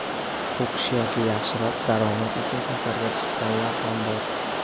O‘qish yoki yaxshiroq daromad uchun safarga chiqqanlar ham bor.